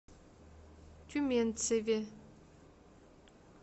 тюменцеве